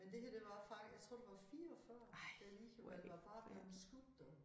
Men det her det var faktisk jeg tror det var 44 der lige var på arbejde skudt du